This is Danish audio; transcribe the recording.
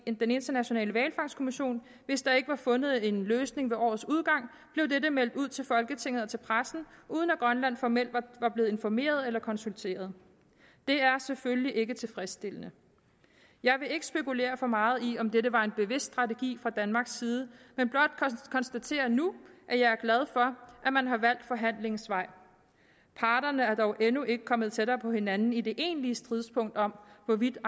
den internationale hvalfangstkommission hvis der ikke var fundet en løsning ved årets udgang blev dette meldt ud til folketinget og til pressen uden at grønland formelt var blevet informeret eller konsulteret det er selvfølgelig ikke tilfredsstillende jeg vil ikke spekulere for meget i om dette var en bevidst strategi fra danmarks side men blot konstatere nu at jeg er glad for at man har valgt forhandlingens vej parterne er dog endnu ikke kommet tættere på hinanden i det egentlige stridspunkt om hvorvidt